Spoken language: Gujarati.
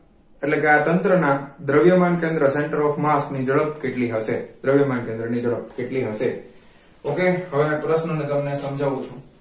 એટલે કે આ તંત્રના દ્રવ્યમાન કેન્દ્ર center of mass ની ઝડપ કેટલી હશે? દ્રવ્યમાન કેન્દ્રની તરફ કેટલી હશે okay હવે આ પ્રશ્ન ને તમ ને સમાજવું છું